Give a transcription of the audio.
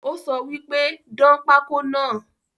Ó sọ wípé ‘dán pako náà "